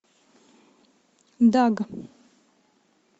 даг